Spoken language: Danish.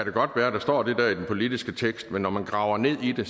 godt være at der står det der i den politiske tekst men når man graver ned i det